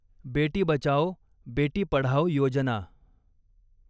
Beti Bachao, Beti Padhao Yojana